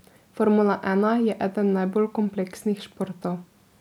Formula ena je eden najbolj kompleksnih športov.